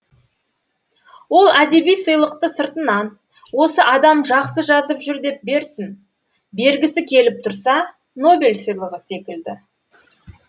ал әдеби сыйлықты сыртынан осы адам жақсы жазып жүр деп берсін бергісі келіп тұрса нобель сыйлығы секілді